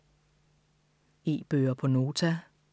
E-bøger på Nota